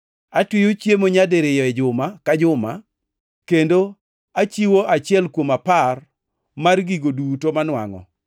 Atweyo chiemo nyadiriyo e juma ka juma, kendo achiwo achiel kuom apar mar gigo duto manwangʼo.’